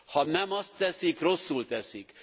Ha nem azt teszik, rosszul teszik!